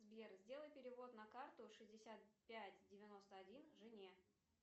сбер сделай перевод на карту шестьдесят пять девяносто один жене